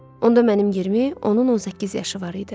Onda mənim 20, onun 18 yaşı var idi.